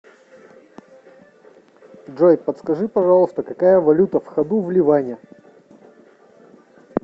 джой подскажи пожалуйста какая валюта в ходу в ливане